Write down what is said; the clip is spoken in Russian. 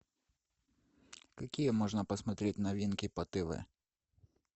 какие можно посмотреть новинки по тв